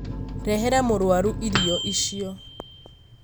Rehera mũrwaru irio icio